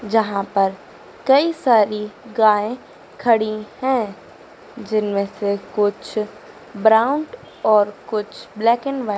जहां पर कई सारी गाय खड़ी है जिनमें से कुछ ब्राउन और कुछ ब्लैक एंड व्हाइट --